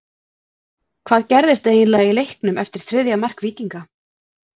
Hvað gerðist eiginlega í leiknum eftir þriðja mark Víkinga?